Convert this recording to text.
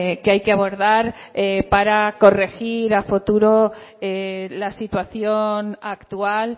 que hay que abordar para corregir a futuro la situación actual